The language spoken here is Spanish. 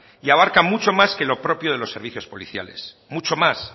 y abarca mucho más que lo propio de los servicios policiales mucho más